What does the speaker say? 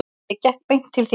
Ég gekk beint til þín.